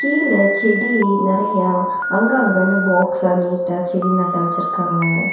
கீழ செடி நெறையா அங்கங்கன்னு பாக்ஸா நீட்டா செடி நட்ட வெச்சுருக்காங்க.